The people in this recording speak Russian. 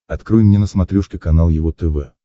открой мне на смотрешке канал его тв